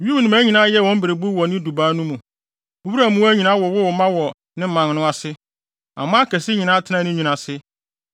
Wim nnomaa nyinaa yɛɛ wɔn berebuw wɔ ne dubaa no mu, wuram mmoa nyinaa wowoo mma wɔ ne mman no ase aman akɛse nyinaa tenaa ne nwini ase.